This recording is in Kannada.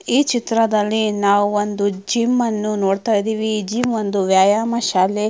ಈ ಚಿತ್ರದಲ್ಲಿ ನಾವು ಒಂದು ಜಿಮ್ ಅನ್ನು ನೋಡತ್ತಾ ಇದ್ದಿವಿ ಈ ಜಿಮ್ ಒಂದು ವ್ಯಾಯಾಮ ಶಾಲೆ.